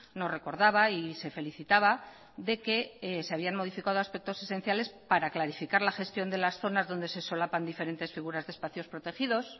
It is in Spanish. nos recordaba y se felicitaba de que se habían modificado aspectos esenciales para clarificar la gestión de las zonas donde se solapan diferentes figuras de espacios protegidos